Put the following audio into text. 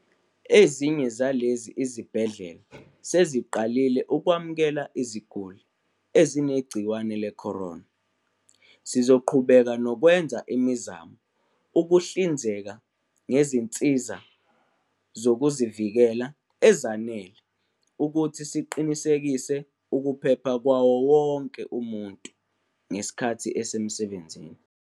"Ezinye zalezi zibhedlela seziqalile ukwamukela iziguli ezinegciwane le-corona." Sizoqhubeka nokwenza imizamo ukuhlinzeka ngezinsiza zokuzivikela ezanele ukuze siqinisekise ukuphepha kwawo wonke umuntu ngesikhathi esemsebenzini.